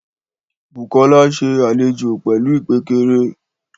Bùkọ́lá ṣe àlejò pẹ̀lú ìpékeré